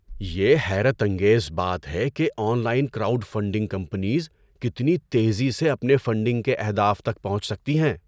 یہ حیرت انگیز بات ہے کہ online crowd funding campaigns کتنی تیزی سے اپنے فنڈنگ کے اہداف تک پہنچ سکتی ہیں۔